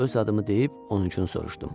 Öz adımı deyib, onun adını soruşdum.